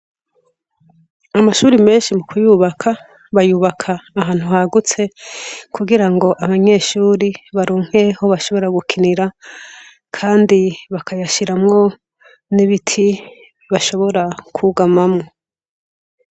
Amashure menshi mukuyubaka bayubaka ahantu hagutse kugira ngo abanyeshure baronke aho bashobora gukinira kandi bakayashiramwo n'ibiti bashobora kwugamamwo.